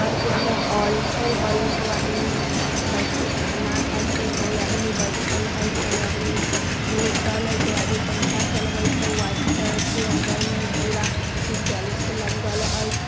घर के अंदर हॉल छै हॉल में सब आदमी बैठके खाना खाई छै कोई आदमी बैठल हई कोई आदमी सुतल है कोई आदमी पंखा चलबई छई| व्हाइट कलर के अंदर में पूरा टाइल्स लग्गल है।